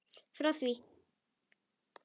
Frá því